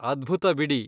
ಅದ್ಭುತ ಬಿಡಿ.